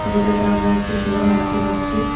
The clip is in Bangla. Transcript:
ছবিটাতে আমরা একটি শোরুম দেখতে পাচ্ছি।